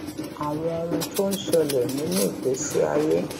àwọn ohun tó ń ṣẹlè nínú ìgbésí ayé